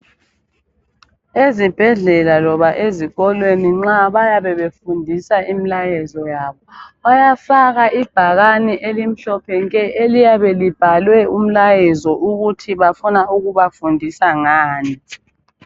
Ezibhedlela loba ezikolweni nxa bayabe befundisa imlayezo yabo, bayafaka ibhakane elimhlophe nke eliyabe libhalwe umlayezo ukuthi bafuna ukubafundisa ngani.